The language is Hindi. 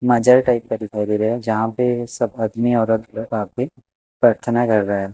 मजर टाइप का दिखाई दे रहा है जहां पे सब आदमी और आप पे प्रार्थना कर रहा है।